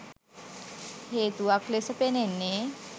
හේතුවක් ලෙස පෙනෙන්නේ